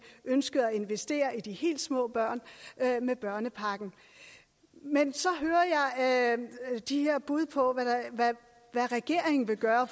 ønskede at investere i de helt små børn med børnepakken men så hører jeg de her bud på hvad regeringen vil gøre